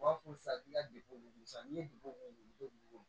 U b'a fɔ safila de ko sa n'i ye